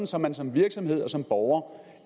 så man som virksomhed og som borger